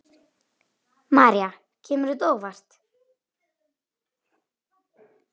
María: Kemur þetta á óvart?